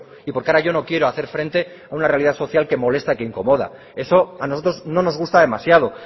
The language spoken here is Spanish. y porque ahora yo no quiero hacer frente a una realidad social que molesta a quien incomoda eso a nosotros no nos gusta demasiado